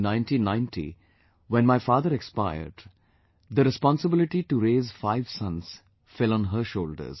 In 1990, when my father expired, the responsibility to raise five sons fell on her shoulders